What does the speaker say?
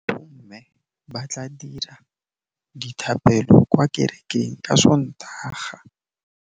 Bommê ba tla dira dithapêlô kwa kerekeng ka Sontaga.